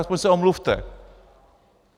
Alespoň se omluvte.